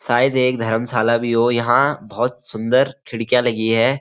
शायद एक धर्मशाला भी हो यहाँ बहोत सुंदर खिड़कियाँ लगी हैं।